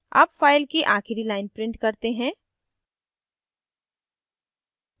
अब file की आखिरी line print करते हैं